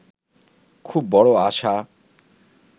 খুব বড় আশা